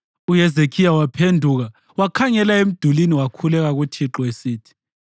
UHezekhiya waphenduka wakhangela emdulini wakhuleka kuThixo esithi,